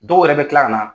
Dɔw yɛrɛ bɛ tila ka na